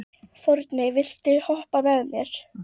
Forni, viltu hoppa með mér?